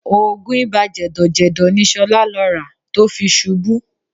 Oògùn ibà jẹ̀dọ̀jẹ̀dọ̀ ni Ṣọlá lọ rà tó fi ṣubú